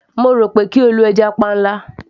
mo rò pé kí o lo stock fish